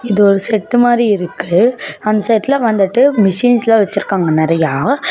இதொரு set மாரி இருக்கு அந்த செட்லா வந்துட்டு மிசின்ஸ்ல வெச்சிருக்காங்க நெறையா.